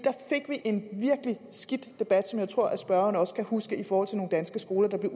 fik vi en virkelig skidt debat som jeg tror spørgeren også kan huske i forhold til nogle danske skoler der blev